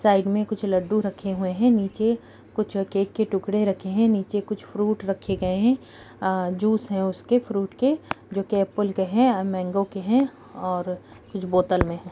साइड में कुछ लड्डू रखें हुए हैं नीचे कुछ केक के टुकड़े रखें हैं नीचे कुछ फ्रूट रखे गए हैं अ जूस है उसके फ्रूट के जो कि एप्पल के हैं मांगों के हैं और कुछ बोतल में हैं।